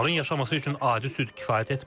Onların yaşaması üçün adi süd kifayət etmir.